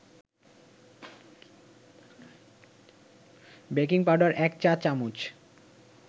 baking powder ১ চা-চামচ